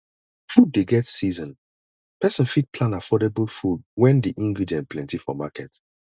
food dey get season person fit plan affordable food when di ingredient plenty for market